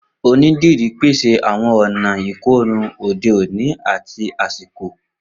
Onídìrí pese awọn ọna ikorun ode oni ati asiko